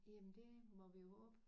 Jamen det må vi jo håbe